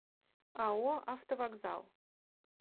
ао автовокзал